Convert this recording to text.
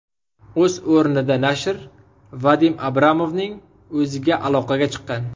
O‘z o‘rnida nashr Vadim Abramovning o‘ziga aloqaga chiqqan.